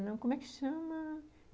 Como é que chama?